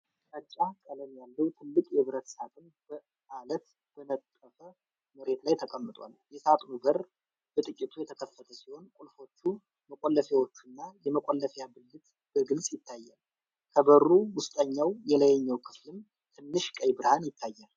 ግራጫ ቀለም ያለው ትልቅ የብረት ሣጥን በአለት በተነጠፈ መሬት ላይ ተቀምጧል። የሣጥኑ በር በጥቂቱ የተከፈተ ሲሆን ቁልፎቹ፣ መቆለፊያዎቹና የመቆለፊያ ብልት በግልጽ ይታያሉ። ከበሩ ውስጠኛው የላይኛው ክፍልም ትንሽ ቀይ ብርሃን ይታያል።